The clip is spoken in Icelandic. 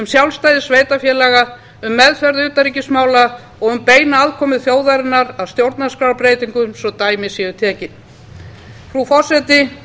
sjálfstæði sveitarfélaga meðferð utanríkismála og beina aðkomu þjóðarinnar að stjórnarskrárbreytingum svo dæmi séu tekin frú forseti